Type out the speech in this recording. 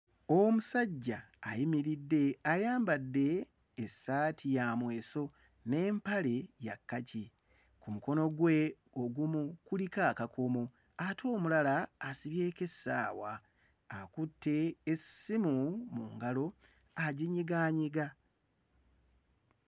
Omusajja ayimiridde ayambadde essaati ya mweso n'empale ya kkaki. Ku mukono gwe ogumu kuliko akakomo ate omulala asibyeko essaawa, akutte essimu mu ngalo aginyigaanyiga.